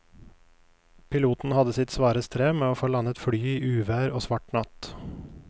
Piloten hadde sitt svare strev med å få landet flyet i uvær og svart natt.